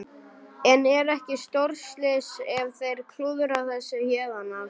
En er ekki stórslys ef þeir klúðra þessu héðan af?